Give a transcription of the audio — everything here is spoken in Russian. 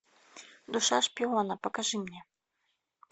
душа шпиона покажи мне